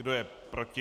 Kdo je proti?